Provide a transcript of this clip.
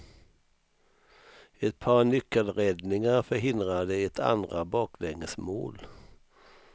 Ett par nyckelräddningar förhindrade ett andra baklängesmål.